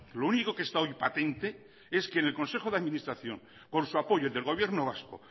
lo único que está hoy patente es que en el consejo de administración con su apoyo del gobierno vasco